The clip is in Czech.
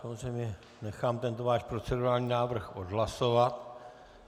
Samozřejmě nechám tento váš procedurální návrh odhlasovat.